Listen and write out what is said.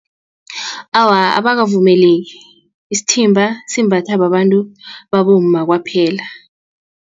Awa, abakavumeleki isithimba simbatha babantu babomma kwaphela.